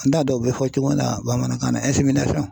N t'a dɔn u bɛ fɔ cogo min na bamanankan na